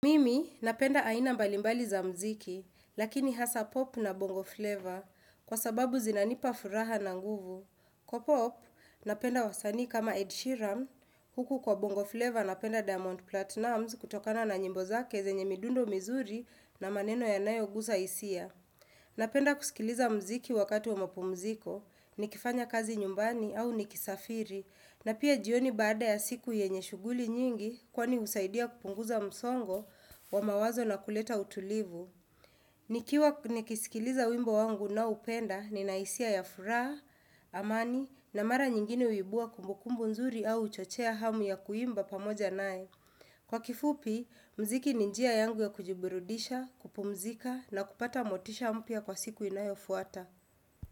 Mimi napenda aina mbalimbali za muziki, lakini hasaa pop na bongo flavor, kwa sababu zinanipa furaha na nguvu. Kwa pop, napenda wasani kama Ed Sheeran, huku kwa bongo flavor napenda Diamond Platnumz kutokana na nyimbo zake zenye midundo mizuri na maneno yanayoguza hisia. Napenda kusikiliza mziki wakati wa mapumziko, nikifanya kazi nyumbani au nikisafiri. Na pia jioni baada ya siku yenye shughuli nyingi kwani husaidia kupunguza msongo wa mawazo na kuleta utulivu. Nikiwa nikisikiliza wimbo wangu ninaoupenda nina hisia ya furaha, amani na mara nyingine huibua kumbukumbu nzuri au huchochea hamu ya kuimba pamoja naye. Kwa kifupi, mziki ni njia yangu ya kujibirudisha, kupumzika na kupata motisha mpya kwa siku inayofuata.